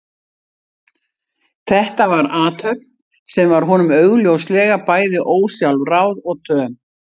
Þetta var athöfn sem var honum augljóslega bæði ósjálfráð og töm.